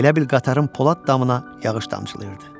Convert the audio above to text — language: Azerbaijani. Elə bil qatarın polad damına yağış damcılayırdı.